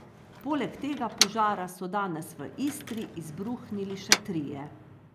Poleg tega požara so danes v Istri izbruhnili še trije.